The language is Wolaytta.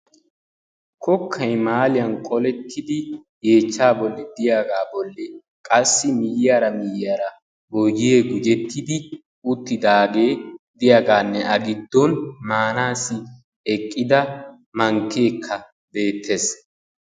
Kokkay maaliyan qoletidi yechchan bollan de'iyaga bolli qassi miyaara miyaara boyyee gujettidi uttidage de'iyagane a giddon maanasi eqqida mankke beetees.